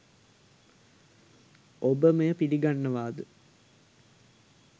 ඔබ මෙය පිළිගන්නවාද?